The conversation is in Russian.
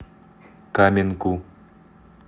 каменку